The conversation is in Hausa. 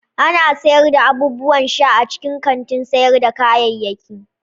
Ana sayar da abubuwan sha a cikin kantin sayar da kayayyaki.